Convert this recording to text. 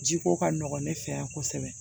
Jiko ka nɔgɔn ne fɛ yan kosɛbɛ